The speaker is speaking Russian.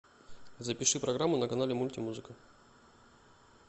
запиши программу на канале мультимузыка